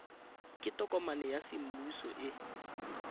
ke tokomane ya semmuso e